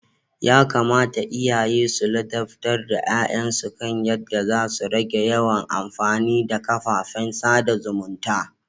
Yakamata iyaye su ladabtar da ya'yan su kan yadda za su rage yawan amfani da kafafen sada zumunta.